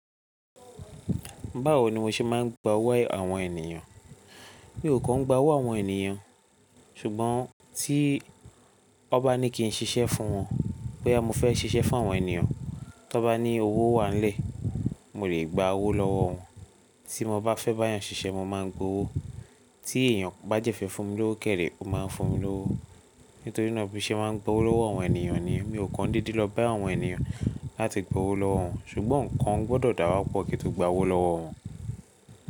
Báwo ni mo ṣe máa ń gba owó àwọn ènìyàn? Mi ò kan gba owó àwọn ènìyàn, ṣùgbọ́n tí won ba ní kí n ṣiṣẹ́ fún wọn, boya mo fẹ́ ṣiṣẹ́ fún àwọn ènìyàn, tí won ba ní owó wá nile, mo lè gba owó lọ́wọ́ wọn. Tí mo bá fẹ́ bá èèyàn ṣiṣẹ́, mo máa ń gba owó. Tí èèyàn bá jẹ́ fẹ́ fún mi lówó kẹ̀ ree, ó máa ń fún mi lówó. Nítorí náà bí i ṣe máa ń gba owó lọ́wọ́ àwọn ènìyàn ni. Mi ò kan deede lọ bá àwọn ènìyàn láti gba owó lọ́wọ́ wọn, ṣùgbọ́n nǹkan gbọ́dọ̀ dà wa pọ̀ kí n to gba owó lọ́wọ́ wọn.